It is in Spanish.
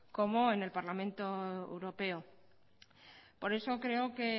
como en el parlamento europeo por eso creo que